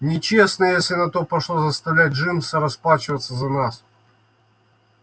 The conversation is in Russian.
нечестно если на то пошло заставлять джимса расплачиваться за нас